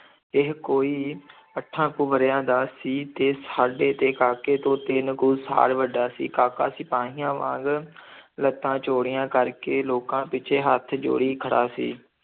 ਇਹ ਕੋਈ ਅੱਠਾਂ ਕੁ ਵਰ੍ਹਿਆਂ ਦਾ ਸੀ ਤੇ ਸਾਡੇ ਤੇ ਕਾਕੇ ਤੋਂ ਤਿੰਨ ਕੁ ਸਾਲ ਵੱਡਾ ਸੀ, ਕਾਕਾ ਸਿਪਾਹੀਆਂ ਵਾਂਗ ਲੱਤਾਂ ਚੌੜੀਆਂ ਕਰਕੇ ਲੋਕਾਂ ਪਿੱਛੇ ਹੱਥ ਜੋੜੀ ਖੜਾ ਸੀ।